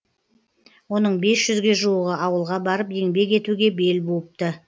оның бес жүзге жуығы ауылға барып еңбек етуге бел буыпты